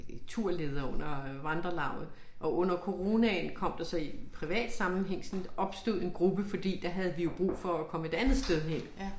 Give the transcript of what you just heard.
Øh turleder under vandrelauget og under coronaen kom der så i privat sammenhæng sådan et opstod en gruppe fordi der havde vi jo brug for at komme et andet sted hen